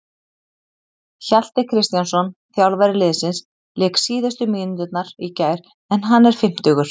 Hjalti Kristjánsson, þjálfari liðsins, lék síðustu mínúturnar í gær en hann er fimmtugur.